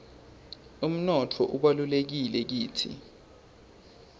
umnotfo ubalulekile kitsi